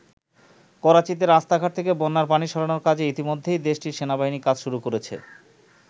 করাচীতে রাস্তাঘাট থেকে বন্যার পানি সরানোর কাজে ইতিমধ্যেই দেশটির সেনাবাহিনী কাজ শুরু করেছে।